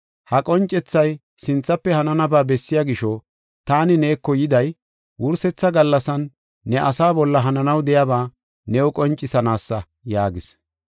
Ha qoncethay sinthafe hananaba bessiya gisho, taani neeko yiday, wursetha gallasan ne asaa bolla hananaw de7iyaba new qoncisanaasa” yaagis.